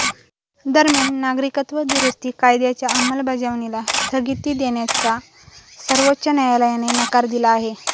दरम्यान नागरिकत्व दुरूस्ती कायद्याच्या अंमलबजावणीला स्थगिती देण्याला सर्वोच्च न्यायालयाने नकार दिला आहे